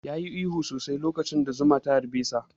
Ya yi ihu sosai lokacin da zuma ta harɓe sa